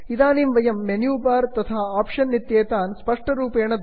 इदानीं वयं menu bar तथा आप्षन् इत्येतान् स्पष्टरूपेण द्रष्टुं शक्नुमः